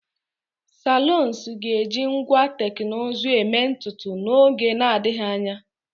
saloons ga-eji ngwa teknụzụ eme ntutu n'oge na-adịghị anya